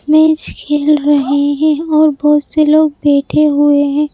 Match खेल रहे हैं और बहुत से लोग बैठे हुए हैं।